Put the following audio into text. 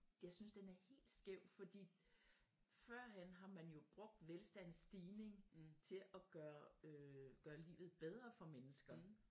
Jeg synes den er helt skæv fordi førhen har man jo brugt velstandens stigning til og gøre øh livet bedre for mennesker